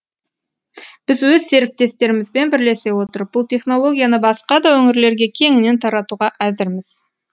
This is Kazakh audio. біз өз серіктестерімізбен бірлесе отырып бұл технолгияны басқа да өңірлерге кеңінен таратуға әзірміз